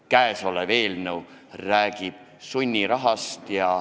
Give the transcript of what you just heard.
Käesolev eelnõu räägib sunnirahast.